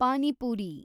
panipuri